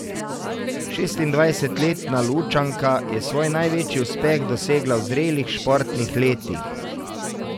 Šestindvajsetletna Lučanka je svoj največji uspeh dosegla v zrelih športnih letih.